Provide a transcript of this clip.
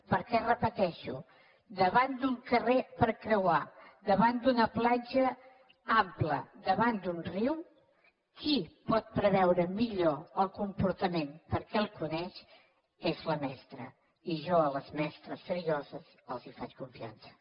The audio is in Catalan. perquè ho repeteixo davant d’un carrer per creuar davant d’una platja ampla davant d’un riu qui pot preveure millor el comportament perquè el coneix és la mestra i jo a les mestres serioses els faig confiança